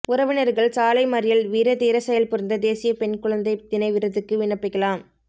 உறவினர்கள் சாலை மறியல் வீரதீர செயல் புரிந்த தேசிய பெண் குழந்தை தின விருதுக்கு விண்ணப்பிக்கலாம்